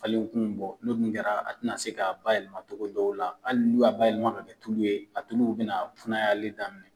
Falen kun bɔ no dun kɛra a te na se ka ba yɛlɛma cogo dɔw la ,hali n'u y'a ba yɛlɛma dɔ ka kɛ tulu ye, a tuluw be na kunayali daminɛ .